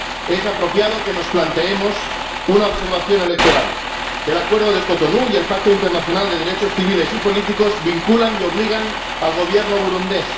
Es apropiado que nos planteemos una observación electoral el Acuerdo de Cotonú y el Pacto Internacional de Derechos Civiles y Políticos vinculan y obligan al Gobierno burundés.